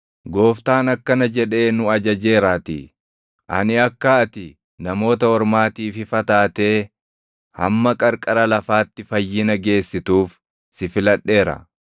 Gooftaan akkana jedhee nu ajajeeraatii; “ ‘Ani akka ati Namoota Ormaatiif ifa taatee, hamma qarqara lafaatti fayyina geessituuf si filadheera.’ + 13:47 \+xt Isa 49:6\+xt*”